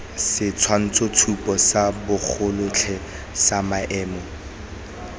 setshwantshotshupo sa bogotlhe sa maemo